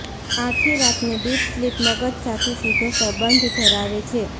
આખી રાતની deep sleep મગજ સાથે સીધો સંબંધ ધરાવે છે